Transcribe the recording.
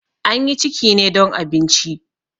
An yi ciki ne don abinci.